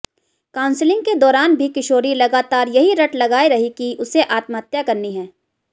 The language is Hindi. काउंसलिंग के दौरान भी किशोरी लगातार यही रट लगाए रही कि उसे आत्महत्या करनी है